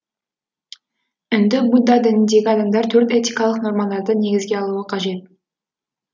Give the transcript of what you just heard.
үнді будда дініндегі адамдар төрт этикалық нормаларды негізге алуы қажет